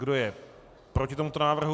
Kdo je proti tomuto návrhu?